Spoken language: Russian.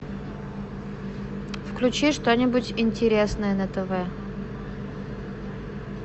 включи что нибудь интересное на тв